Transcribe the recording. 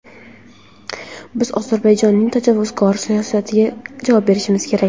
Biz Ozarbayjonning tajovuzkor siyosatiga javob berishimiz kerak.